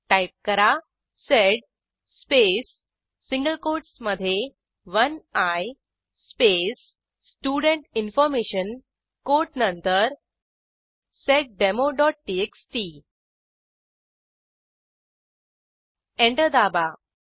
type करा sed space single कोटसमधे 1आय स्पेस स्टुडेंट इन्फॉर्मेशन कोट नंतर seddemoटीएक्सटी एंटर दाबा